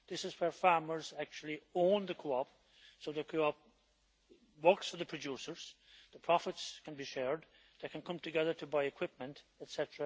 This is where farmers actually own the co op, so the co op works for the producers, the profits can be shared, they can come together to buy equipment etc.,